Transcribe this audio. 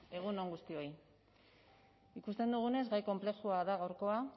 egun on guztioi ikusten dugunez gai konplexua da gaurkoa